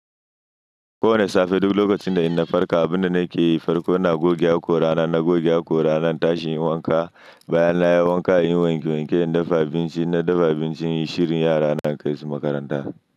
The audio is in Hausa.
Kowane safe duk lokacin da in na farka, abin da nake yi farko ina goge hakora na, in na goge hakora na, in tashi inyi wanka, bayan na yi wanka in yi wanke wanke, in dafa abinci, na dafa abinci, in yi shirin yara na kai su makaranta.